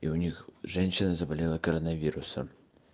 у них женщина заболела коронавирусом